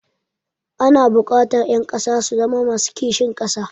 Ana buƙatar ƴan ƙasa su zama masu kishin ƙasa.